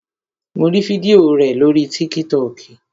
Mo rí fídíò rẹ̀ lórii tíkítọkì